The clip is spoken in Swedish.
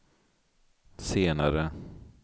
senare